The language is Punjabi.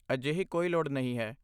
ਅਜਿਹੀ ਕੋਈ ਲੋੜ ਨਹੀਂ ਹੈ।